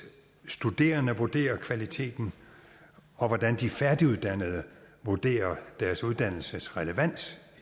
studerende vurderer kvaliteten og hvordan de færdiguddannede vurderer deres uddannelses relevans